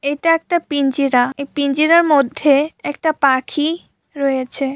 এটা একটা পিঞ্জিরা | এই পিঞ্জিরার মধ্যে একটা পাখি রয়েছে।